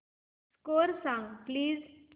score सांग please